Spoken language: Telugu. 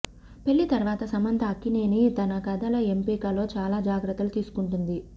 పెళ్లి తరువాత సమంత అక్కినేని తన కథల ఎంపికలో చాలా జాగ్రత్తలు తీసుకుంటుంది